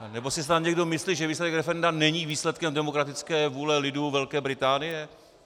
Nebo si snad někdo myslí, že výsledek referenda není výsledkem demokratické vůle lidu Velké Británie?